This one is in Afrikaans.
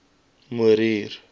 morier